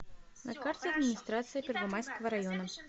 на карте администрация первомайского района